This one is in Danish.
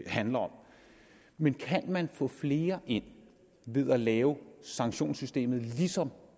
handler om men kan man få flere ind ved at lave sanktionssystemet ligesom